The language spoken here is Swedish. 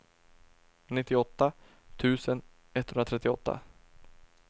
nittioåtta tusen etthundratrettioåtta